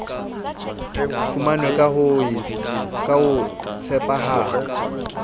fumanwe ka ho se tshepahale